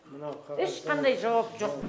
ешқандай жауап жоқ